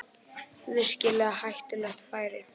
Virkilega hættulegt færi